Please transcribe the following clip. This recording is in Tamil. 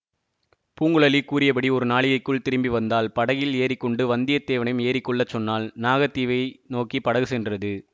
பூங்குழலி கூறியபடி ஒரு நாழிகைக்குள் திரும்பி வந்தாள் படகில் ஏறிக்கொண்டு வந்தியத்தேவனையும் ஏறிக்கொள்ளச் சொன்னாள் நாகத்தீவை நோக்கி படகு சென்றது